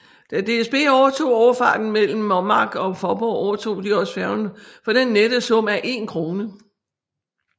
Da DSB overtog overfarten mellem Mommark og Fåborg overtog de også færgen for den nette sum af en krone